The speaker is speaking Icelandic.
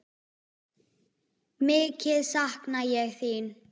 Mikið sakna ég þín.